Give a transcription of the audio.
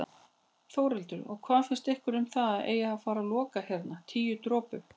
Þórhildur: Og hvað finnst ykkur um að það eigi að fara loka hérna Tíu dropum?